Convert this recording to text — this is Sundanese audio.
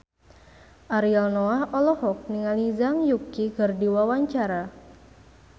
Ariel Noah olohok ningali Zhang Yuqi keur diwawancara